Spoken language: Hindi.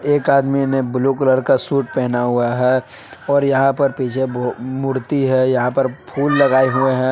एक आदमी ने ब्लू कलर शूट पहना हुआ है और यहाँ पर पीछे भू मुर्ति है यहाँ पर फूल लगाए हुए हैं।